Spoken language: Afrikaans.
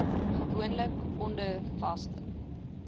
gewoonlik onder vaste